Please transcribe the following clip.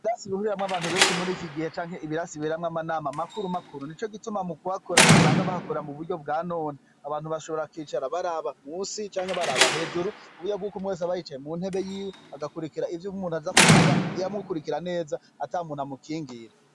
Ibirasi bihuriramwo abantu benshi muri iki gihe canke ibirasi biberamwo amanama makuru makuru. Nico gituma mu kuhakora basanga bahakora mu buryo bwa none. Abantu bashobora kwicara baraba musi canke baraba hejuru kuburyo bwuko umwe wese aba yicaye mu ntebe yiwe, agakwirikira ivyo umuntu aza kuvuga, amukwirikira neza atamuntu amukingira.